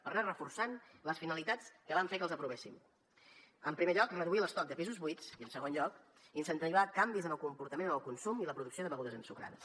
per anar reforçant les finalitats que van fer que els aprovéssim en primer lloc reduir l’estoc de pisos buits i en segon lloc incentivar canvis en el comportament en el consum i la producció de begudes ensucrades